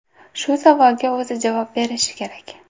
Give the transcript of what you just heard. Shu savolga o‘zi javob berishi kerak.